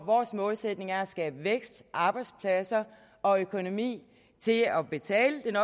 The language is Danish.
vores målsætning er at skabe vækst arbejdspladser og økonomi til at betale den